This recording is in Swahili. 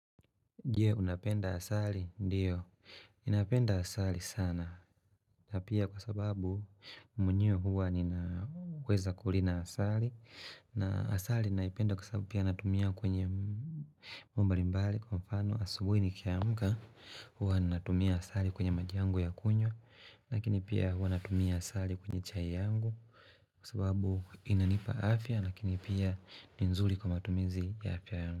Je, unapenda asali, ndio, ninapenda asali sana, na pia kwa sababu mwenyewe huwa ninaweza kulina asali, na asali naipenda kwa sababu pia natumia kwenye mbali mbali, kwa mfano asubuh ini kiamka, huwa natumia asali kwenye maji yangu ya kunywa, lakini pia huwa natumia asali kwenye chai yangu, kwa sababu inanipa afya, akini pia ni zuri kwa matumizi ya afya yangu.